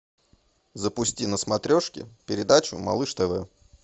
запусти на смотрежке передачу малыш тв